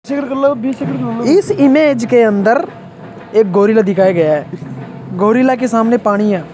इस इमेज के अंदर एक गोरिल्ला दिखाया गया है गोरिल्ला के सामने पानी है।